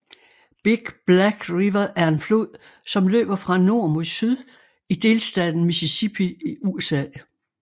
Big Black River er en flod som løber fra nord mod syd i delstaten Mississippi i USA